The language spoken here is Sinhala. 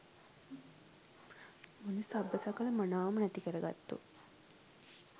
මුළු සබ්බ සකල මනාවම නැති කරගත්තු